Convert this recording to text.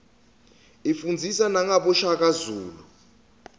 ifundzisa nagabo shaka zulu